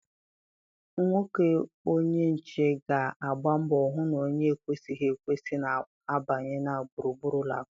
Nwoke onye nche ga-agba mbọ hụ na onye ekwesịghị ekwesị na-abanye na gburugburu ụlọ akwụkwọ.